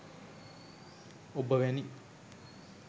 ඔබ වැනි